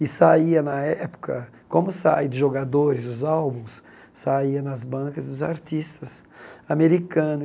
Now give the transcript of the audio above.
E saía na época, como saem de jogadores os álbuns, saía nas bancas os artistas americanos.